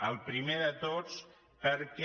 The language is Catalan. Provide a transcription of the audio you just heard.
el primer de tots perquè